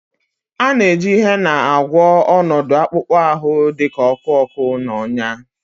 A na-eji Hena agwọ ọnọdụ akpụkpọ ahụ dị ka ọkụ ọkụ na ọnyá